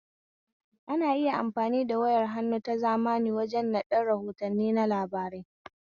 Ana iya amfani da wayar hannu ta zamani waje naɗan rahotanni na labarai